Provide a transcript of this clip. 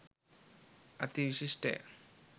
අති විශිෂ්ටය.